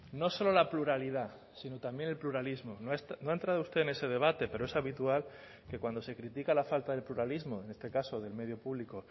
no solo la pluralidad sino también el pluralismo no ha entrado usted en ese debate pero es habitual que cuando se critica la falta del pluralismo en este caso del medio público